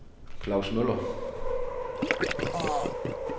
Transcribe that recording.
Klaus Møller